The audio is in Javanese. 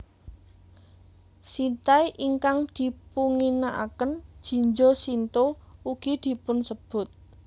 Shintai ingkang dipunginakaken Jinja Shinto ugi dipunsebut